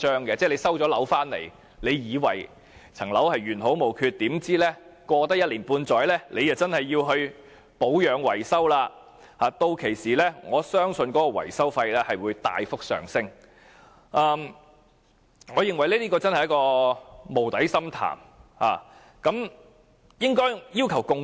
即是在收樓後，大家本以為樓宇原好無缺，豈料經過一年半載，便已需要保養維修，我更相信屆時的維修費將會大幅上升，這將會是一個無底深潭。